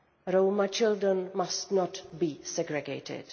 Roma children must not be segregated.